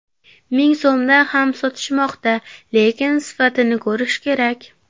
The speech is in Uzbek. Ming so‘mdan ham sotishmoqda, lekin sifatini ko‘rish kerak.